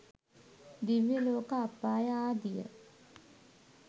දිව්‍ය ලෝක අපාය ආදිය